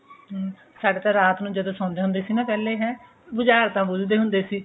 ਹਮ ਸਾਡੇ ਰਾਤ ਨੂੰ ਜਦੋਂ ਸੋਂਦੇ ਹੁੰਦੇ ਸੀ ਨਾ ਪਹਿਲੇ ਹੈ ਬੁਝਾਰਤਾ ਬੁਝਦੇ ਹੁੰਦੇ ਸੀ